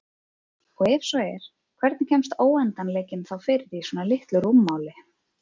Og ef svo er hvernig kemst óendanleikinn þá fyrir í svona litlu rúmmáli?